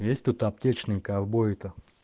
ну есть тут аптечные ковбои то